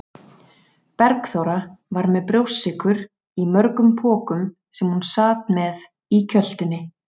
Bergþóra var með brjóstsykur í mörgum pokum sem hún sat með í kjöltunni.